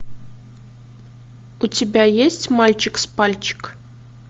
у тебя есть мальчик с пальчик